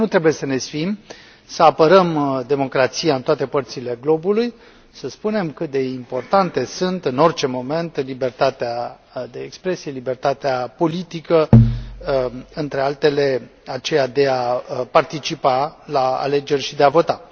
Cred că nu trebuie să ne sfiim să apărăm democrația în toate părțile globului, să spunem cât de importante sunt în orice moment libertatea de expresie, libertatea politică, între altele, aceea de a participa la alegeri și de a vota.